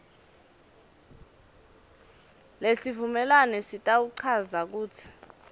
lesivumelwano sitawuchaza kutsi